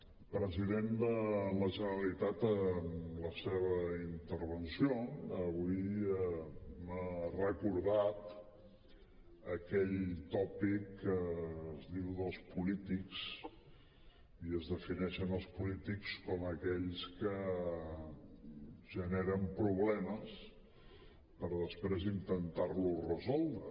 el president de la generalitat en la seva intervenció avui m’ha recordat aquell tòpic que es diu dels polítics i en què es defineixen els polítics com aquells que generen problemes per després intentar los resoldre